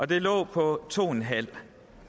det lå på to en halv